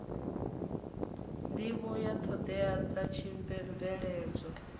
nḓivho ya ṱhoḓea dza tshibveledzwa